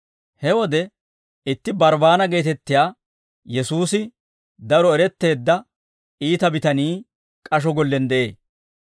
He wode itti Barbbaana geetettiyaa Yesuusi daro eretteedda iita bitanii k'asho gollen de'ee.